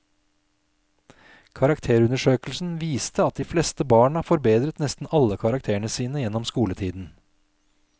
Karakterundersøkelsen viste at de fleste barna forbedret nesten alle karakterene sine gjennom skoletiden.